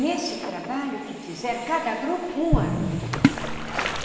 Nesse trabalho que fizeram cada grupo, um ano.